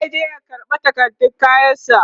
zai je ya karɓa takardun kayan sa